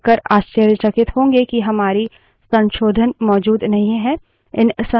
हम यह देककर आश्चर्यचकित होंगे कि हमारे संशोधन मौजूद नहीं हैं